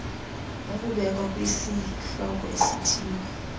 ukubekwa kwisihloko esithile